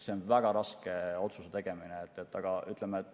On väga raske seda otsust teha.